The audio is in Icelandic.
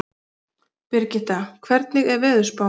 Brigitta, hvernig er veðurspáin?